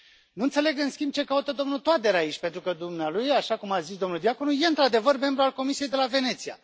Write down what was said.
Nu înțeleg, în schimb, ce caută domnul Toader aici, pentru că dumnealui, așa cum a zis domnul Diaconu, e, într adevăr, membru al Comisiei de la Veneția.